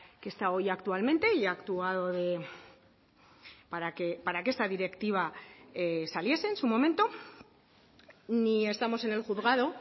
que está hoy actualmente y ha actuado para que esta directiva saliese en su momento ni estamos en el juzgado